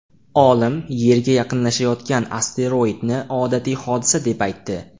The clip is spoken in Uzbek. Olim Yerga yaqinlashayotgan asteroidni odatiy hodisa deb aytdi.